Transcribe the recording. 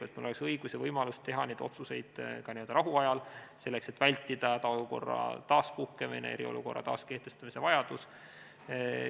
Meil peaks olema õigus ja võimalus teha neid otsuseid ka n-ö rahuajal, selleks et vältida hädaolukorra taaspuhkemise, eriolukorra taaskehtestamise vajadus.